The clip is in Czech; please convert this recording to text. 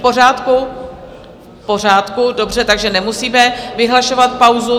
V pořádku, dobře, takže nemusíme vyhlašovat pauzu.